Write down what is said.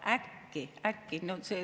Ja äkki!